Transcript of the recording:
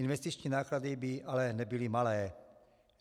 Investiční náklady by ale nebyly malé.